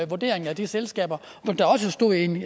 vurderingen af de selskaber der også stod i en